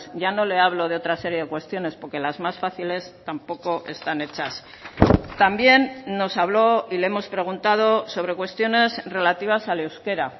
ya no le hablo de otra serie de cuestiones porque las más fáciles tampoco están hechas también nos habló y le hemos preguntado sobre cuestiones relativas al euskera